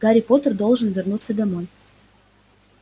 гарри поттер должен вернуться домой